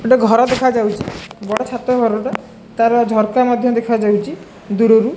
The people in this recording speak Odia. ଗୋଟେ ଘର ଦେଖାଯାଉଚି ବଡ଼ ଛାତ ଘରଟା ତାର ଝରକା ମଧ୍ୟ ଦେଖାଯାଉଚି ଦୂରରୁ।